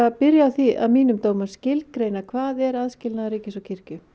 að byrja á því að mínum dómi að skilgreina hvað er aðskilnaður ríkis og kirkju